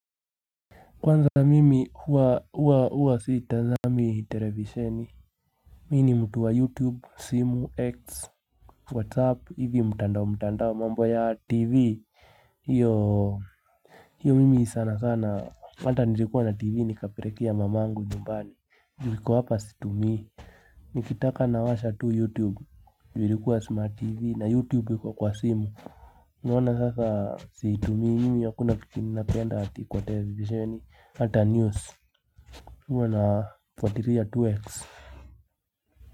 Kwanza mimi huwa siitanzami televisheni Mi ni mutu wa youtube simu x Whatsapp hivyo mutandao mutandao mambo ya tv hiyo mimi sana sana hata nilikuwa na tv nikaperekea mamangu nyumbani Ju liko hapa situmii Nikitaka nawasha tu youtube ju hirikuwa smart tv na youtube iko kwa simu unaona sasa siitumii mimi hakuna kitu ninapenda ati kwa televisheni ata news huwa nafwatiria tu x.